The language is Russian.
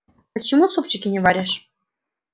почему супчики не варишь